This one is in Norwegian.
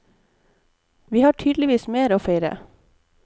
Vi har tydeligvis mer å feire.